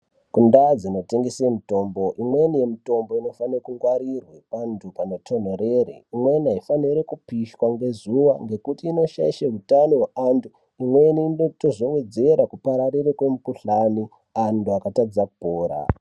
Kundau dzinotengese mitombo imweni yemitombo inofane kungwarirwe pantu panotondorera imweni isaemere kupishwa ngezuwa ngekuti inoshaishe hutano hweantu. Imweni inozowedzera kupararire kwemikhuhlane antu akatadza kupora.